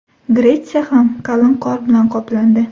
Gretsiya ham qalin qor bilan qoplandi .